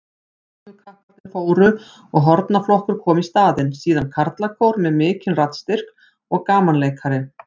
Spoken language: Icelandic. Glímukapparnir fóru og hornaflokkur kom í staðinn, síðan karlakór með mikinn raddstyrk og gamanleikari.